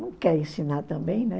Não quer ensinar também, né?